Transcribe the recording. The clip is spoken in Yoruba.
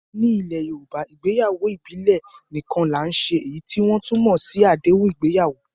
Ní ilẹ̀ Yorùbá, ìgbéyàwó ìbílẹ̀ nìkan là ń ṣe èyí tí wọ́n tún mọ̀ sí àdéhùn ìgbéyàwó